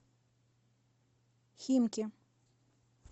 химки